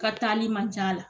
Ka taali man ca la